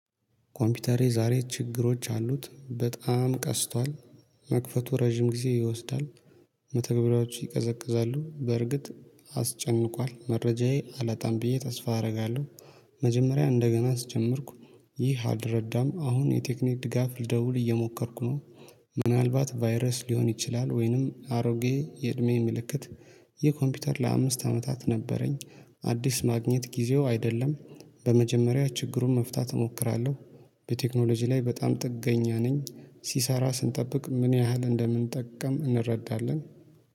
ኮምፒውተሬ ዛሬ ችግሮች አሉት በጣም ቀስቷል መክፈቱ ረጅም ጊዜ ይወስዳል። መተግበሪያዎቹ ይቀዘቅዛሉ በርግጥ አስጨንቋል መረጃዬ አላጣም ብዬ ተስፋ አደርጋለሁ። መጀመሪያ እንደገና አስጀምርኩ። ይህ አልረዳም አሁን የቴክኒክ ድጋፍ ልደውል እየሞከርኩ ነው። ምናልባት ቫይረስ ሊሆን ይችላል ወይንም አሮጌ የእድሜ ምልክት። ይህ ኮምፒውተር ለአምስት አመታት ነበረኝ። አዲስ ማግኘት ጊዜው አይደለም። በመጀመሪያ ችግሩን መፍታት እሞክራለሁ። በቴክኖሎጂ ላይ በጣም ጥገኛ ነኝ ሲሰራ ስንጠብቅ ምን ያህል እንደምንጠቀም እንረዳለን